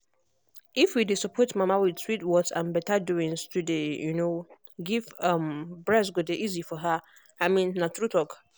if we dey support mama with sweet words and better doings to dey um give um breast go dey easy for her i mean na true talk